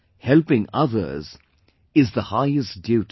helping others is the highest duty